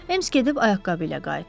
Ems gedib ayaqqabı ilə qayıtdı.